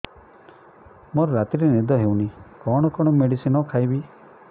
ମୋର ରାତିରେ ନିଦ ହଉନି କଣ କଣ ମେଡିସିନ ଖାଇବି